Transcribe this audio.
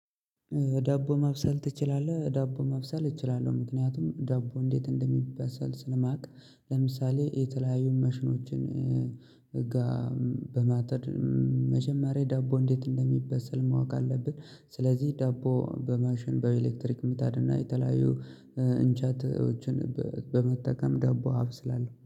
ዳቦ ማብሰል ትችላለህ? ዳቦ ማብሰል እችላለሁ ምክንያቱም ዳቦ እንዴት እንደሚበሰል ስለማውቅ። ለምሳሌ የተለያዩ ማሽኖችን ጋ በማጠድ መጀመሪያ ዳቦ እንዴት እንደሚበሰል ማወቅ አለብን። ስለዚህ ዳቦ በማሽን በኤሌክትሪክ ምጣድ እና የተለያዩ እንጨቶችን በመጠቀም ዳቦ አበስላለው